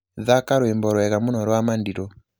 thaka rwīmbo rwega mūno rwa madilū